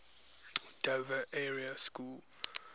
dover area school